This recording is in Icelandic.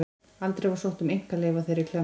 Aldrei var sótt um einkaleyfi á þeirri klemmu.